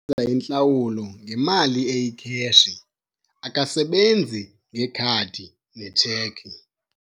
Umama wenza intlawulo ngemali eyikheshi akasebenzi nekhadi netsheki.